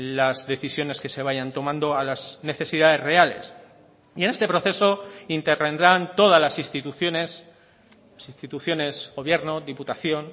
las decisiones que se vayan tomando a las necesidades reales y en este proceso intervendrán todas las instituciones las instituciones gobierno diputación